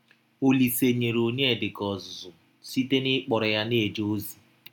Ọlise nyere Ọnyedika ọzụzụ site n’ịkpọrọ ya na - eje ọzi.